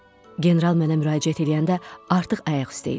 General mənə müraciət eləyəndə artıq ayaq üstə idim.